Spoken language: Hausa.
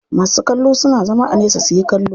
Masu kallo suna zama a nesa suyi kallo.